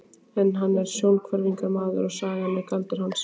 Hann er sjónhverfingamaður og sagan er galdur hans.